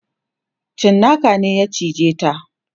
cinnaka ne ya cije ta